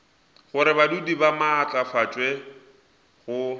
gore badudi ba maatlafatšwe go